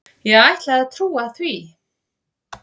Ég ætla að trúa því.